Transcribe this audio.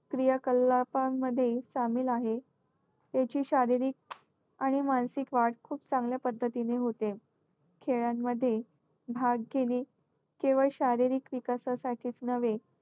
सामील आहे, त्याची शारीरिक आणि मानसिक वाढ खूप चांगल्या पद्धतीने होते. खेळांमध्ये भाग घेणे केवळ शारीरिक विकासासाठीच नव्हे,